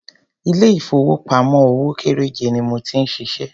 Ilé ìfowópamọ́ òwò kéréje ni mo ti ń ṣiṣẹ́.